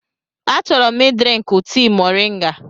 Achọrọ m ị drinkụ tii moringa.